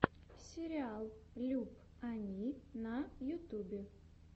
сериал люб ани на ютюбе